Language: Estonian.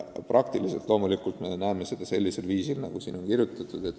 Praktikas me loomulikult näeme seda nii, nagu on siin kirjutatud.